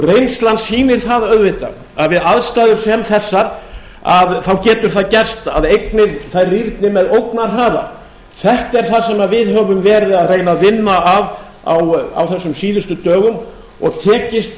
reynslan sýnir það auðvitað að við aðstæður sem þessar getur það gerst að eignir rýrni með ógnarhraða þetta er það sem við höfum verið að reyna að vinna að á þessum síðustu dögum og tekist